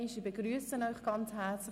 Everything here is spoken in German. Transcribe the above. Ich begrüsse Sie ganz herzlich.